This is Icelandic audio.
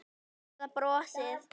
Eða brosið?